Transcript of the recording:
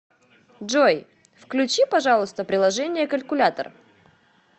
джой включи пожалуйста приложение калькулятор